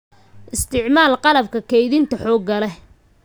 Isticmaal qalabka kaydinta xoogga leh.